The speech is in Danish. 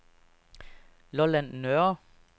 Lolland Nørre